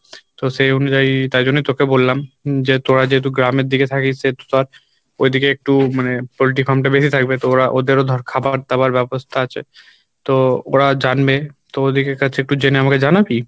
তো সেই অনুযায়ী তাই জন্য তোকে বললাম যে তোরা যেহেতু গ্রামের দিকে থাকিস সেহেতু তোর ঐদিকে একটু মানে পল্টির farm টা বেশি থাকবে তো ওরা ওদেরও ধর খাবার দাবার ব্যবস্হা আছে তো ওরা জানবে তো ওদের কাছে একটু জেনে আমাকে জানাবি?